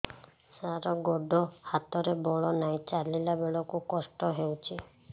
ସାର ଗୋଡୋ ହାତରେ ବଳ ନାହିଁ ଚାଲିଲା ବେଳକୁ କଷ୍ଟ ହେଉଛି